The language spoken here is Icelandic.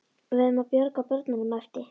Við verðum að bjarga börnunum æpti